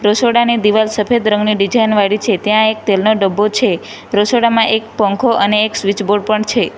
રસોડાની દિવાલ સફેદ રંગની ડિઝાઇન વાળી છે ત્યાં એક તેલનો ડબ્બો છે રસોડામાં એક પંખો અને સ્વીચ બોર્ડ પણ છે.